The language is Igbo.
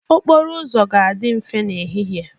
Okporo ụzọ ga-adị mfe n'ehihie